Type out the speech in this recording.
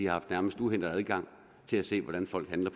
har haft uhindret adgang til at se hvordan folk handler